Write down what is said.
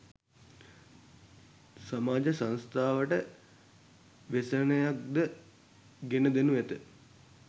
සමාජ සංස්ථාවට ව්‍යසනයක්ද ගෙන දෙනු ඇත.